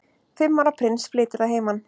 Fimm ára prins flytur að heiman